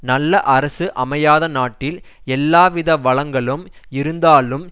நல்ல அரசு அமையாத நாட்டில் எல்லாவித வளங்களும் இருந்தாலும்